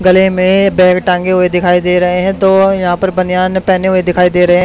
गले में बैग टांगे हुए दिखाई दे रहे हैं दो यहां पर बनियान पहने दिखाई दे रहे है।